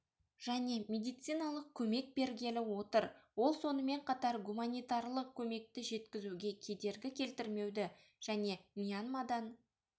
және медициналық көмек бергелі отыр ол сонымен қатар гуманитарлық көмекті жеткізуге кедергі келтірмеуді және мьянмадан